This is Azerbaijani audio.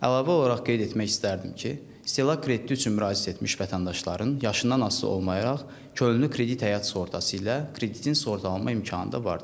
Əlavə olaraq qeyd etmək istərdim ki, istehlak krediti üçün müraciət etmiş vətəndaşların yaşından asılı olmayaraq könüllü kredit həyat sığortası ilə kreditin sığortalanma imkanı da vardır.